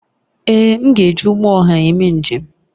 Èé, m ga-eji ụgbọ ọha eme njem